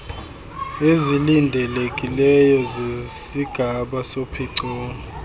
ezilindelekileyo zesigaba sophicotho